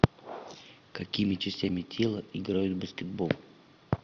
какими частями тела играют в баскетбол